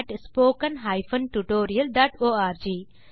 contactspoken tutorialorg